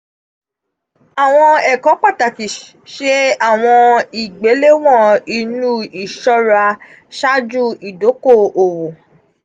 awọn ẹkọ pataki: ṣe awọn igbelewọn inu iṣọra ṣaaju idoko-owo.